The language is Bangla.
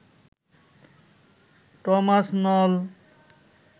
টমাস নল